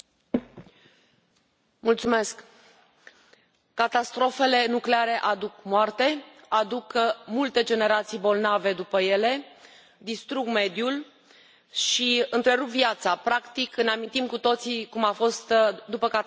Domnule președinte, catastrofele nucleare aduc moarte, aduc multe generații bolnave după ele, distrug mediul și întrerup viața. Practic, ne amintim cu toții cum a fost după catastrofa de la Cernobîl.